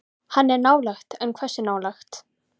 Hann er nálægt en hversu nálægt?